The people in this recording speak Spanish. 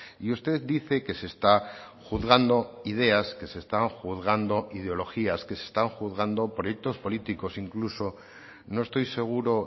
y usted dice que se está juzgando ideas que se están juzgando ideologías que se están juzgando proyectos políticos incluso no estoy seguro